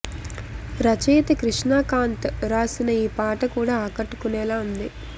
రచయిత కృష్ణ కాంత్ వ్రాసిన ఈ పాట కూడా ఆకట్టుకునేలా ఉంది